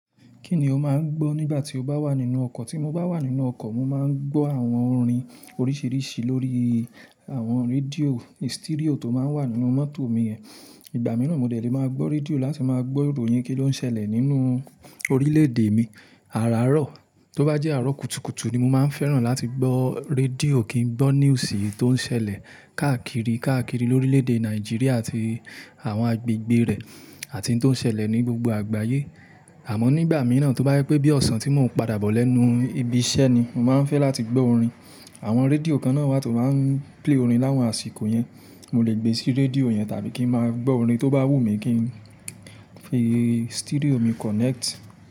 Kíni ó máa ń gbọ́ nígbà tí o bá wà nínú ọkọ̀? Tí mo bá wà nínú ọkọ̀, mo máa ń gbọ́ àwọn orin oríṣiríṣi lórí àwọn rédíò, sítíríò tó máa ń wà nínú mọ́tò mi ẹ. Ìgbà mìíràn mo dẹ̀rẹ̀ máa gbọ́ rédíò láti máa gbọ́ ìròyìn kí ló ń ṣẹlẹ̀ nínú orílẹ̀-èdè mi. Áràárọ̀ tó bá jẹ́ àárọ̀ kùtùkùtù ni mo máa ń fẹ́ràn láti gbọ́ rédíò kí n gbọ́ news tó ń ṣẹlẹ̀ káàkiri, káàkiri orílẹ̀-èdè Nàìjíríà àti àwọn agbègbè rẹ̀, àti ohun tó ń ṣẹlẹ̀ ní gbogbo àgbáyé. Àmọ́ nígbà mìíràn tó bá yẹ pé bí ọ̀sán tí mò ń padà bọ̀ lẹ́nu ibi iṣẹ́ ni, mo máa ń fẹ́ láti gbọ́ orin. Àwọn rédíò kan náà wà tó máa ń play orin láwọn àsìkò yẹn. Mo lè gbé sí rédíò yẹn tàbí kí ń máa gbọ́ orin tó bá wù mí kí ń fi stereo mi connect.